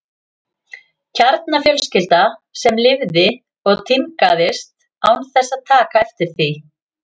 Kjarnafjölskylda sem lifði og tímgaðist án þess að taka eftir því.